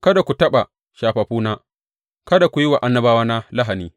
Kada ku taɓa shafaffuna; kada ku yi wa annabawana lahani.